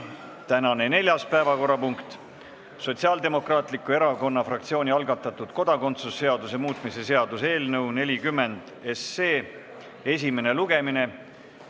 Tänane neljas päevakorrapunkt on Sotsiaaldemokraatliku Erakonna fraktsiooni algatatud kodakondsuse seaduse muutmise seaduse eelnõu 40 esimene lugemine.